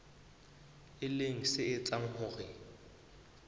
e leng se etsang hore